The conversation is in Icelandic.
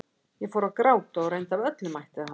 Ég fór að gráta og reyndi af öllum mætti að halda áfram.